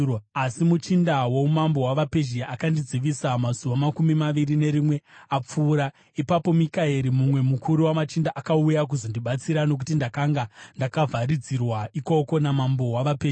Asi muchinda woumambo hwavaPezhia akandidzivisa mazuva makumi maviri nerimwe apfuura. Ipapo Mikaeri, mumwe mukuru wamachinda, akauya kuzondibatsira, nokuti ndakanga ndakavharidzirwa ikoko namambo wavaPezhia.